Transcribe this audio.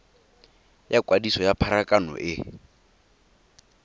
ya kwadiso ya pharakano e